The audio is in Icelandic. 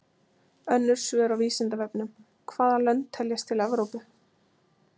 Önnur svör á Vísindavefnum: Hvaða lönd teljast til Evrópu?